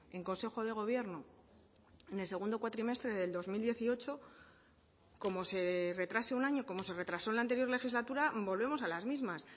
en consejo de gobierno en el segundo cuatrimestre del dos mil dieciocho como se retrase un año como se retrasó en la anterior legislatura volvemos a las mismas